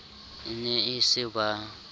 e ne e se ba